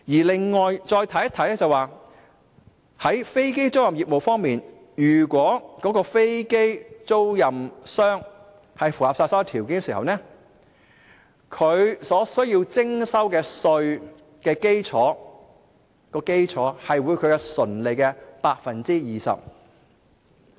另外再看看飛機租賃業務方面，如果飛機出租商符合所有條件，他們所須徵收稅項的基礎，將會是其純利的 20%。